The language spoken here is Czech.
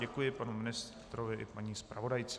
Děkuji panu ministrovi i paní zpravodajce.